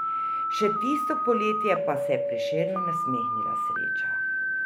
Še tisto poletje pa se je Prešernu nasmehnila sreča.